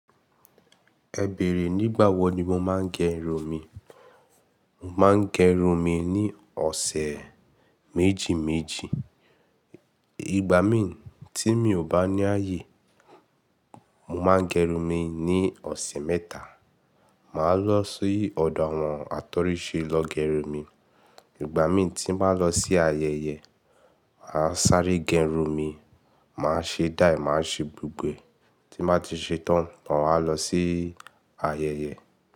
Ẹ bèrè, nígbà wo ni mo máa ń gẹrun mi. Mo máa ń gẹrun mi ní ọ̀sẹ̀ méjì méjì. Ìgbà mi tí mi ò bá ní ààyè, mo máa gẹrun mi ní ọ̀sẹ̀ mẹ́ta. Màá lọ sí ọ̀dọ àwọn àtọ́rí ṣe lọ gẹrun mi. Ìgbà mi tí n ba nlọ sí ayẹyẹ, màá sáré gẹrun mi, màá ṣe dai, màá ṣe gbogbo e. Tí n bá ti ṣe tán, maa wà lọ sí ayẹyẹ.